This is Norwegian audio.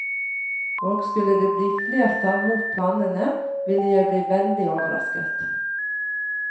Og skulle det bli flertall mot planene, ville jeg bli veldig overrasket.